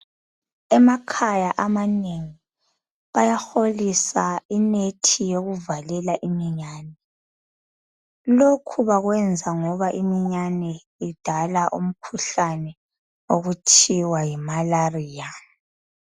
Emakhaya amanengi bayaholisa imithi yokuvalela imiyane lokhu bakwenza ngoba imiyane idala umkhuhlane okuthiwa yimalaria.